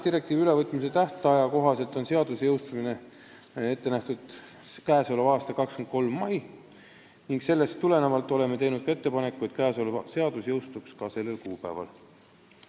Direktiivi ülevõtmise tähtaja kohaselt on seaduse jõustumine ette nähtud käesoleva aasta 23. mail ning sellest tulenevalt oleme teinud ettepaneku, et seadus jõustuks just sellel kuupäeval.